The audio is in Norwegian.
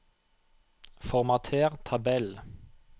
Formater tabell